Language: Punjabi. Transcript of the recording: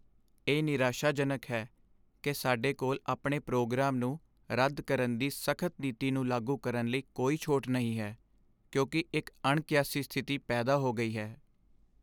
ਇਹ ਨਿਰਾਸ਼ਾਜਨਕ ਹੈ ਕਿ ਸਾਡੇ ਕੋਲ ਆਪਣੇ ਪ੍ਰੋਗਰਾਮ ਨੂੰ ਰੱਦ ਕਰਨ ਦੀ ਸਖਤ ਨੀਤੀ ਨੂੰ ਲਾਗੂ ਕਰਨ ਲਈ ਕੋਈ ਛੋਟ ਨਹੀਂ ਹੈ, ਕਿਉਂਕਿ ਇੱਕ ਅਣਕਿਆਸੀ ਸਥਿਤੀ ਪੈਦਾ ਹੋ ਗਈ ਹੈ।